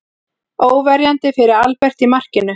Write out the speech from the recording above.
Óverjandi fyrir Albert í markinu.